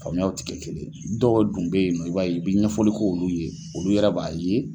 Faamuyaw tɛ kɛ kelen dɔw dun bɛ ye nɔ i b'a ye i bɛ ɲɛfɔli k'olu ye olu yɛrɛ b'a ye